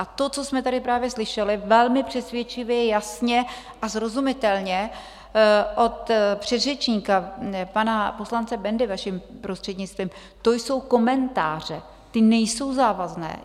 A to, co jsme tady právě slyšeli velmi přesvědčivě, jasně a srozumitelně od předřečníka pana poslance Bendy, vaším prostřednictvím, to jsou komentáře, ty nejsou závazné.